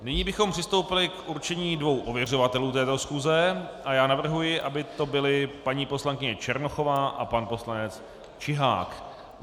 Nyní bychom přistoupili k určení dvou ověřovatelů této schůze a já navrhuji, aby to byli paní poslankyně Černochová a pan poslanec Čihák.